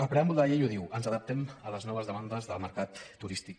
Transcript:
el preàmbul de la llei ho diu ens adaptem a les noves demandes del mercat turístic